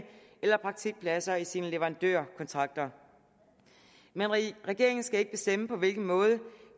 eller praktikpladser i sine leverandørkontrakter men regeringen skal ikke bestemme på hvilken måde